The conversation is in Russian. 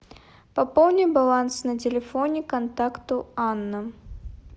пополни баланс на телефоне контакту анна